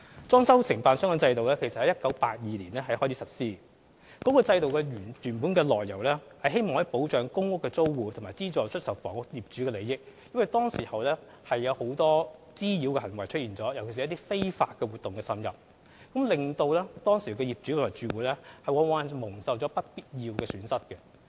裝修承辦商制度其實由1982年開始實施，原是為了保障公屋租戶和資助出售房屋業主的利益，因為當時出現了很多滋擾行為，尤其是一些非法活動滲入，往往令當時的業主和住戶蒙受不必要的損失。